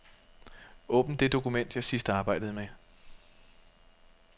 Åbn det dokument, jeg sidst arbejdede med.